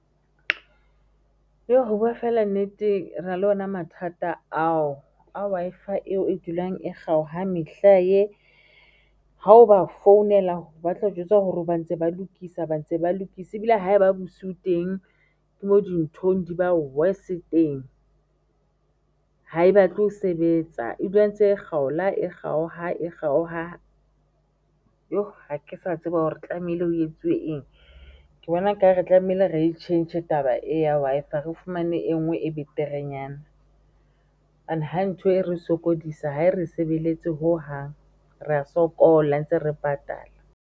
Ho bua fela nnete, rena le ona mathata ao a Wi-Fi eo e dulang e kgaoha mehlae, ha o ba founela ba tlao jwetsa hore ba ntse ba lokisa ba ntse ba lokise ebile ha eba bosiu teng ke mo dintho di bang worse teng. Ha e batle ho sebetsa, e dula e ntse e kgaola e kgaoha, e kgaoha ha ke sa tseba hore tlamehile ho etsuwe eng, ke bona ekare re tlamehile re e tjhentjhe taba e ya Wi-Fi re fumane e nngwe e beterenyana. Ha ntho e re sokodisa, ha e re sebeletse hohang, rea sokola ntse re patala.